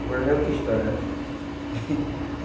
Agora já é outra história, né?